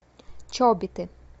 чобиты